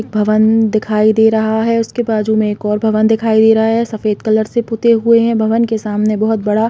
एक भवन दिखाई दे रहा है उसके बाजु में एक और भवन दिखाई दे रहा है सफ़ेद कलर से पुते हुए है भवन के सामने बहोत बड़ा--